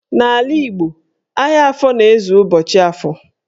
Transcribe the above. N'ala Igbo, ahịa afọ na-ezu ụbọchị Afọ